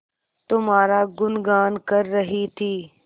तुम्हारा गुनगान कर रही थी